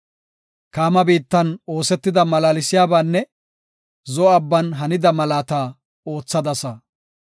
Kaama biittan oosetida malaalsiyabanne Zo7o Abban hanida malaata oothidaasaa.